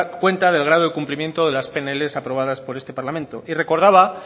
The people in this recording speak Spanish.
cuenta del grado de cumplimiento de las pnl aprobadas por este parlamento y recordaba